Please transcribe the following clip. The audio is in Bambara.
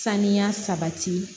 Saniya sabati